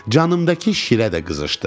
Canımdakı şirə də qızışdı.